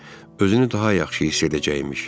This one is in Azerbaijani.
Özünü daha yaxşı hiss edəcəkmiş.